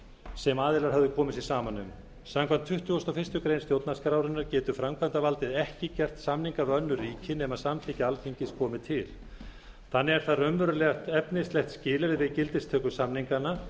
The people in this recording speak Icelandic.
sem aðilar höfðu komið sér saman um samkvæmt tuttugustu og fyrstu grein stjórnarskrárinnar getur framkvæmdarvaldið ekki gert samninga við önnur ríki nema samþykki alþingis komi til þannig er það raunverulegt efnislegt skilyrði við gildistöku samninganna